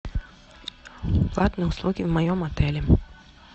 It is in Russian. платные услуги в моем отеле